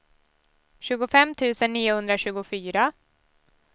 tjugofem tusen niohundratjugofyra